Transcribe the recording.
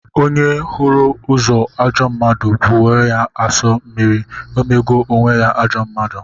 Onye hụrụ ozu ajọ mmadụ bụọ ya asọ mmiri, emego onwe ya ajọ mmadụ.